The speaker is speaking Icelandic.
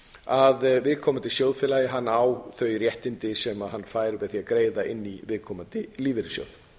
að viðkomandi sjóðfélagi eigi þau réttindi sem hann fær með því að greiða inn í viðkomandi lífeyrissjóð